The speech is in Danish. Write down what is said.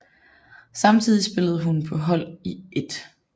Samtidig spillede hun på hold i 1